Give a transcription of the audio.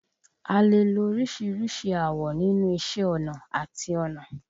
A lè lo oríṣìíríṣìí awọ̀ nínú iṣẹ́ ọnà àti ọnà.